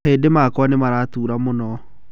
Mahĩndĩ makwa nĩ maratura mũno.